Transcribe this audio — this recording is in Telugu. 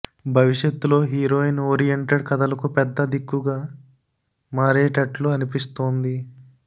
భవిష్యత్ లో హీరోయిన్ ఓరియంటెడ్ కథలకు పెద్ద దిక్కుగా మారేటట్లు అనిపిస్తోంది